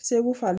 Segu fa